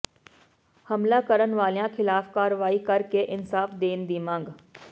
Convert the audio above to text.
ਹਮਲਾ ਕਰਨ ਵਾਲਿਆਂ ਖਿਲਾਫ ਕਾਰਵਾਈ ਕਰ ਕੇ ਇਨਸਾਫ ਦੇਣ ਦੀ ਮੰਗ